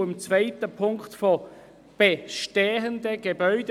Auch im zweiten Satz geht es um bestehende Gebäude.